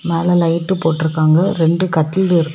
மேல லைட் போட்டுருக்காங்க ரெண்டு கட்டில் இருக்கு.